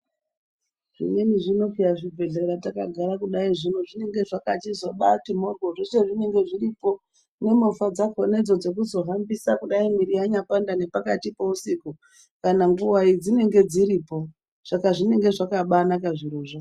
Zvimweni zvino peya zvibhedhlera takagara kudai zvino zvinenge zvakabati moryo zvicha zvinenge zviripo nemovha dzacho dzekuzohambisa kudai miri yanyapanda pakayi peusiku chero nguwai dzinenge dziripo saka zvinenge zvakabaanaka zvirozvo.